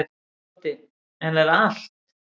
Broddi: En er allt.